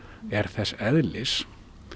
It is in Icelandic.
er þess eðlis